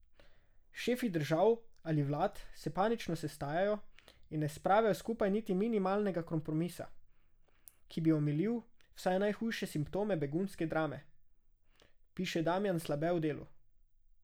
Šefi držav ali vlad se panično sestajajo in ne spravijo skupaj niti minimalnega kompromisa, ki bi omilil vsaj najhujše simptome begunske drame, piše Damijan Slabe v Delu.